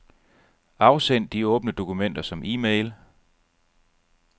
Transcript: Afsend de åbne dokumenter som e-mail.